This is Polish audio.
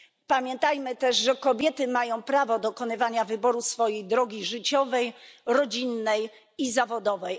Pamiętajmy też, że kobiety mają prawo dokonywać wyboru swojej drogi życiowej, rodzinnej i zawodowej.